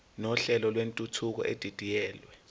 nohlelo lwentuthuko edidiyelwe